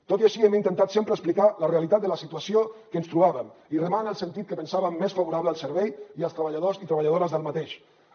tot i així hem intentat sempre explicar la realitat de la situació que ens trobàvem i remar en el sentit que pensàvem més favorable al servei i als treballadors i treballadores d’aquest